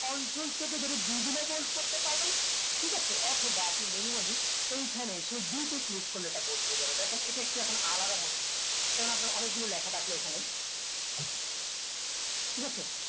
control চেপে ধরে B দিয়েও bold করতে পারবেন ঠিকাছে অথবা আপনি manually এইখানে এসে B তে click করলে এটা bold হয়ে যাবে দেখেন ইটা একটু এখন আলাদা মনে হচ্ছে যেমন আপনার অনেকগুলো লেখা থাকলে এখানে ঠিকাছে